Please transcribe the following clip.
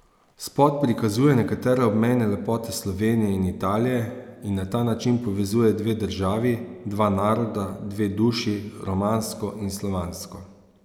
Spot prikazuje nekatere obmejne lepote Slovenije in Italije in na ta način povezuje dve državi, dva naroda, dve duši, romansko in slovansko.